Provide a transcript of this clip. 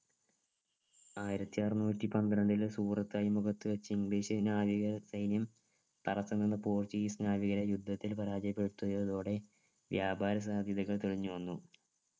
ആയിരത്തി അറന്നൂറ്റി പന്ത്രണ്ടിൽ സൂറത് അഴിമുഖത്ത് വച്ച് english നാവിക സൈന്യം തടസം നിന്ന് portuguese നാവികരെ യുദ്ധത്തിൽ പരാജയപ്പെടുത്തിയതോടെ വ്യാപാര സാധ്യതകൾ തെളിഞ്ഞു വന്നു